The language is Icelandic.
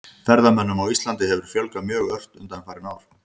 Ferðamönnum á Íslandi hefur fjölgað mjög ört undanfarin ár.